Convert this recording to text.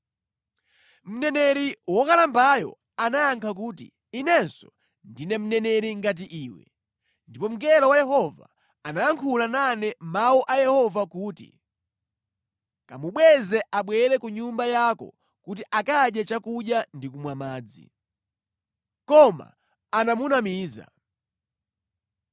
Mneneri wokalambayo anayankha kuti, “Inenso ndine mneneri ngati iwe. Ndipo mngelo wa Yehova anayankhula nane mawu a Yehova kuti, ‘Kamubweze abwere ku nyumba yako kuti akadye chakudya ndi kumwa madzi.’ ” Koma anamunamiza.